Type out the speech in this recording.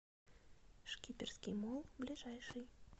шкиперский молл ближайший